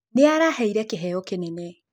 Nĩaraheĩre kĩheo kĩnene